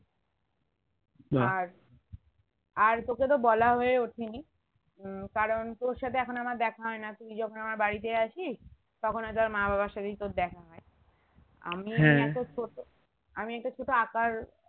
আর তোকে তো বলা হয়ে ওঠেনি উম কারণ তোর সাথে এখন আমার দেখা হয়না তুই যখন আমার বাড়িতে আসিস তখন হয়তো আর মা বাবার সাথেই তোর দেখা হয় আমিই ছোট আমি একটা ছোট আঁকার